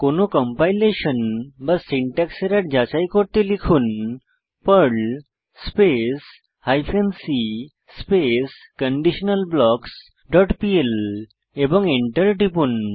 কোনো কম্পাইলেশন বা syntax error যাচাই করতে লিখুন Perl space hyphen c space conditional blocks dot PL এবং এন্টার টিপুন